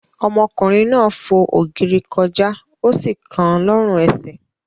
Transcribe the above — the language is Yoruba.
Ọmọkùnrin náà fo ògiri kọjá, ó sì kan lọ́rùn-ẹsẹ̀.